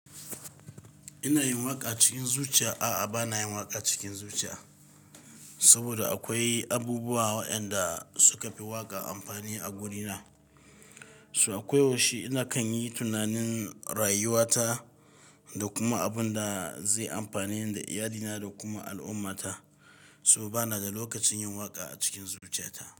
Ina yin waƙa cikin zuciya. A'a bana yin waƙa cikin zuciya, saboda akwai abubuwa waɗanda suka fi waƙa amfani a wurina. Toh a ko yaushe ina kan yi tunanin rayuwa ta, da kuma abun da zai amfane ni da iyalina da kuma al'ummah ta. Toh bana da lokacin yin waƙa a cikin zuciya ta.